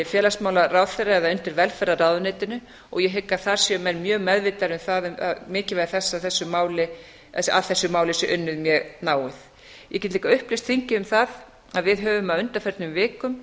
félagsmálaráðherra eða undir velferðarráðuneytinu og ég hygg að þar séu menn mjög meðvitaðir um mikilvægi þess að að þessu máli sé unnið mjög náið ég get líka upplýst þingið um það að við höfum á undanförnum vikum